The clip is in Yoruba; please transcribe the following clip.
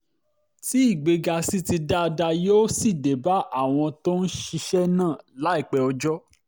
tí ìgbéga sì ti dáadáa yóò sì dé bá àwọn tó ń ṣiṣẹ́ náà láìpẹ́ ọjọ́